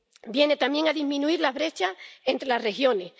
Viene también a disminuir la brecha entre las regiones